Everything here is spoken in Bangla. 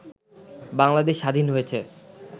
বাংলাদেশ স্বাধীন হয়েছে